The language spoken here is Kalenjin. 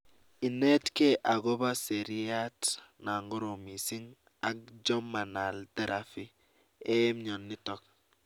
inetkei akopo seriat na korom missing ak jhormanal therapy eng mnyonitok